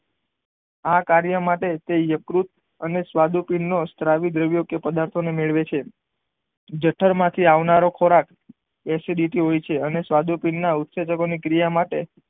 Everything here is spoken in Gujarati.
આ કાર્ય માટે તે યકૃત અને સ્વાદુ પિંડ નો સ્રાવી દ્રવ્ય કે પ્રદાથો ને મેળવે છે જઠર માંથી આવનારો ખોરાક એસીડીટી હોય છે અને સ્વાદુ પિંડ માં ઉસેજન ની ક્રિયા માટે